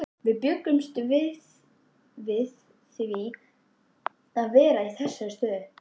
En bjuggumst við við því að vera í þessari stöðu?